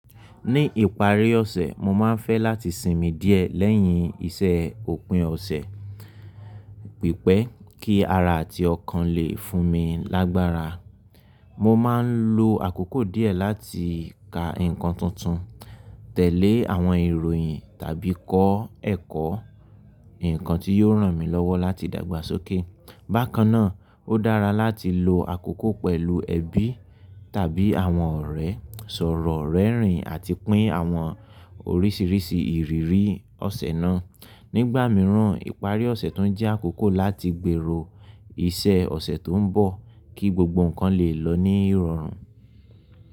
Ní ìparí ọ̀sẹ̀, mo máa ń fẹ́ láti sinmi díẹ̀ lẹ́yìn iṣẹ́ òpin ọ̀sẹ̀, pípẹ́ kí ara àti ọkàn lè fún mi lágbára. Mo máa ń lo àkókò díẹ̀ láti ka nǹkan tuntun, tẹ̀lé àwọn ìròyìn tàbí kọ́ ẹ̀kọ́, ǹnkan tí yóò ràn mí lọ́wọ́ láti dàgbà sókè. Bákan náà, ó dára láti lo àkókò pẹ̀lú ẹbí tàbí àwọn ọ̀rẹ́, sọ̀rọ̀ rẹ́rìn-ín àti pín àwọn oríṣiríṣi ìrírí ọ̀sẹ̀ náà. Nígbà mìíràn, ìparí ọ̀sẹ̀ tún jẹ́ àkókò láti gbèrò iṣẹ́ ọ̀sẹ̀ tó ń bọ̀ kí gbogbo ǹkan lè lọ ní ìrọ̀rùn.